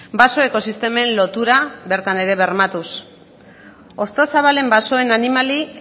baso ekosistemen lotura bertan ere bermatuz hostozabalen basoen animali